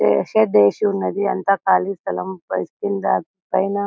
దేశ దశి ఉన్నది అంతా ఖాళీ స్థలం కింద పైనా.